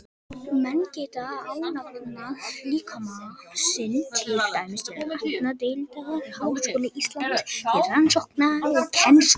Menn geta ánafnað líkama sinn, til dæmis til læknadeildar Háskóla Íslands, til rannsóknar og kennslu.